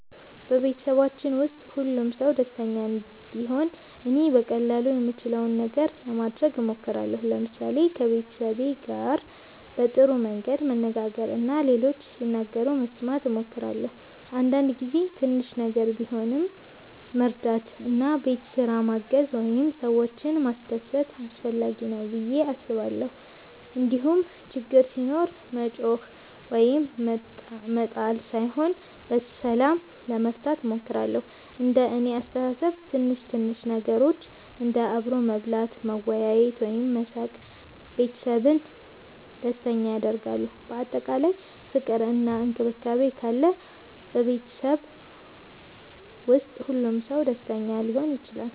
በቤተሰባችን ውስጥ ሁሉም ሰው ደስተኛ እንዲሆን እኔ በቀላሉ የምችለውን ነገር ለማድረግ እሞክራለሁ። ለምሳሌ ከቤተሰቤ ጋር በጥሩ መንገድ መነጋገር እና ሌሎች ሲናገሩ መስማት እሞክራለሁ። አንዳንድ ጊዜ ትንሽ ነገር ቢሆንም መርዳት እንደ ቤት ስራ ማገዝ ወይም ሰዎችን ማስደሰት አስፈላጊ ነው ብዬ አስባለሁ። እንዲሁም ችግር ሲኖር መጮኽ ወይም መጣል ሳይሆን በሰላም ለመፍታት እሞክራለሁ። እንደ እኔ አስተሳሰብ ትንሽ ትንሽ ነገሮች እንደ አብሮ መብላት፣ መወያየት ወይም መሳቅ ቤተሰብን ደስተኛ ያደርጋሉ። በአጠቃላይ ፍቅር እና መከባበር ካለ ቤተሰብ ውስጥ ሁሉም ሰው ደስተኛ ሊሆን ይችላል።